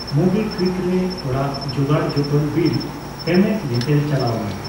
MobiKwik ᱨᱮ ᱚᱲᱟᱜ ᱡᱳᱜᱟᱲᱡᱚᱛᱚᱱ ᱵᱤᱞ ᱯᱮᱢᱮᱱᱴ ᱧᱮᱛᱮᱞ ᱪᱟᱞᱟᱣ ᱢᱮ ᱾